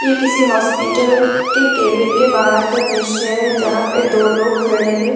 ये किसी हॉस्पिटल के केविन के बाहर का दृश्य है जहां पे दो लोग खड़े हैं।